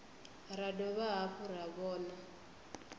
ra dovha hafhu ra vhona